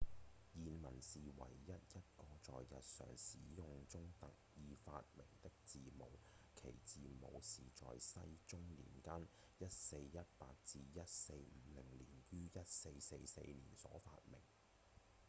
諺文是唯一一個在日常使用中特意發明的字母其字母是在世宗年間 1418-1450 年於1444年所發明